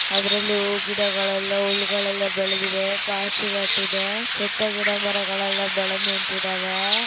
ಅದ್ರಲ್ಲಿ ಹೂ ಗಿಡಗಳೆಲ್ಲಾ ಹುಲ್ಲುಗಳು ಬೆಳದ್ದಿದೆ ಪಾಚಿ ಕಟ್ಟಿದೆ. ಸುತ್ತ ಗಿಡ ಮರಗಳ ಬೆಳದ ನಿಂತಿದ್ದಾವೆ.